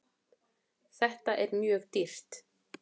Þetta er mjög dýrt.